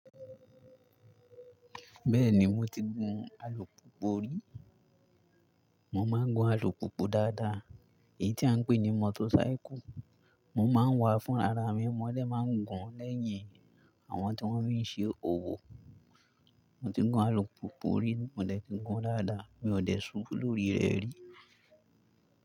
Bẹ́ẹ̀ni mo ti gun alùpùpù rí, mo máa ń gun alùpùpù dáada, èyí tí à ń pè ní motosáíkù. Mo máa ń wà á fún ara mí, mo dè máa ń gun lẹ́yìn àwọn tí wọ́n fí ṣe òwò. Mo ti gun alùpùpù rí, mo dẹ̀ ti gùún dáada, mi ò dẹ̀ ṣubú lórí rẹ̀ rí.